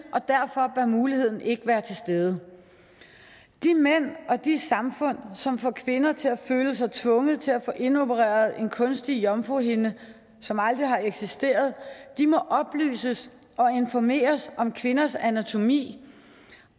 og muligheden ikke være til stede de mænd og de samfund som får kvinder til at føle sig tvunget til at få indopereret en kunstig jomfruhinde som aldrig har eksisteret må oplyses og informeres om kvinders anatomi